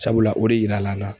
Sabula o de yirala an na.